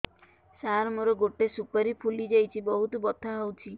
ସାର ମୋର ଗୋଟେ ସୁପାରୀ ଫୁଲିଯାଇଛି ବହୁତ ବଥା ହଉଛି